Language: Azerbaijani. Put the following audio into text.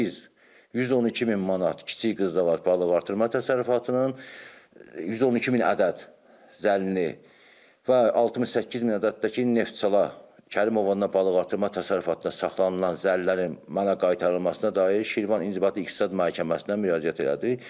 Və biz 112000 manat kiçik qız da var balıqartırma təsərrüfatının 112000 ədəd zəllini və 68000 ədəddir ki, neftçala Kərimovanın balıqartırma təsərrüfatına saxlanılan zəllərin mənə qaytarılmasına dair Şirvan inzibati İqtisad məhkəməsinə müraciət elədik.